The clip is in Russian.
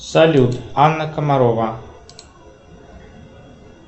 салют анна комарова